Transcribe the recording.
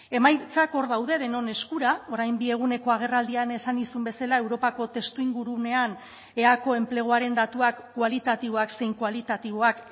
emaitzak hor daude denon eskura orain bi eguneko agerraldian esan nizun bezala europako testuinguruan eaeko enpleguaren datuak kualitatiboak zein kualitatiboak